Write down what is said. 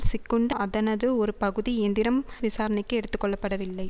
சிக்குண்டு அதனது ஒரு பகுதி இயந்திரம் விசாரணைக்கு எடுத்து கொள்ளப்படவில்லை